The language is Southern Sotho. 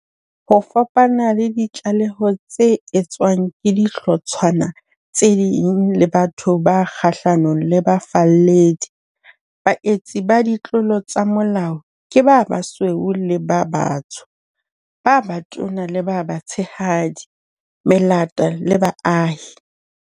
Ho fapana le ditlaleho tse etswang ke dihlotshwana tse ding le batho ba kgahlanong le bafalledi, baetsi ba ditlolo tsa molao ke ba basweu le ba batsho, ba batona le ba batshehadi, melata le baahi.